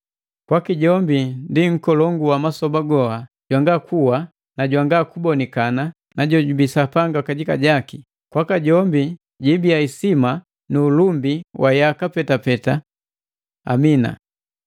Kwaki jombi ndi Nkolongu wa masoba goha, jwanga kuwa, jwanga kubonikana na jojubii Sapanga kajika, kwaka jombi jibiya isima nu ulumbi wa yaka petapeta! Amina.